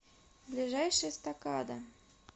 ближайший эстакада